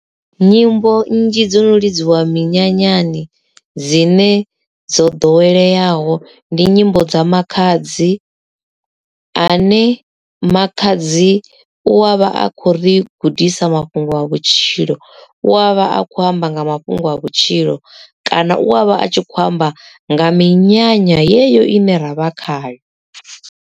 Nyimbo nnzhi dzo no lidziwa minyanyani dzine dzo ḓoweleaho ndi nyimbo dza makhadzi ane makhadzi u avha a kho ri gudisa mafhungo a vhutshilo u avha a kho amba nga mafhungo a vhutshilo kana u avha a tshi khou amba nga minyanya yeyo ine ravha khayo.